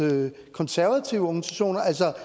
konservative organisationer altså